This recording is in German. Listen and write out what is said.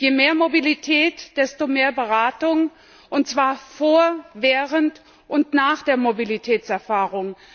Je mehr Mobilität, desto mehr Beratung und zwar vor, während und nach der Mobilitätserfahrung.